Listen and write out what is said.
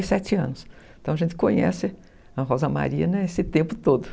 Então a gente conhece a Rosa Maria nesse tempo todo.